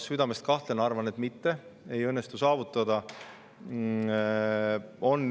Ma südamest kahtlen, arvan, et seda ei õnnestu saavutada.